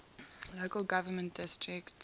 local government districts